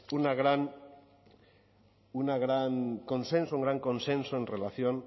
un gran consenso en relación